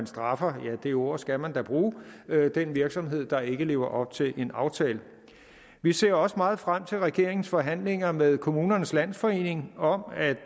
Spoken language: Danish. straffer ja det ord skal man da bruge den virksomhed der ikke lever op til en aftale vi ser også meget frem til regeringens forhandlinger med kommunernes landsforening om at